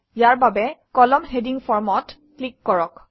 ইয়াৰ বাবে কলামন heading Form অত ক্লিক কৰক